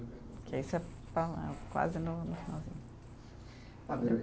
Porque aí você fala quase no, no finalzinho.